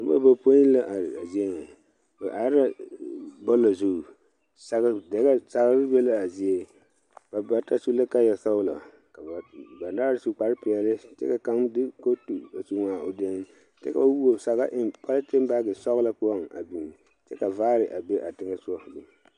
Nobɔ bapoi la are a zie ŋa ba are la bɔɔla zu sagre dɛgɛ sagre be laa zie ba bata su la kaayɛ sɔglɔ ka ba banaare su kparepeɛle kyɛ ka kaŋ de kootu a su eŋaa o dene kyɛ ka ba wuo saga eŋ politin baagi sɔglɔ poɔŋ a biŋ kyɛ ka vaare a be a teŋɛsugɔ.